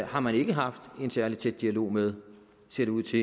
har man ikke haft en særlig tæt dialog med ser det ud til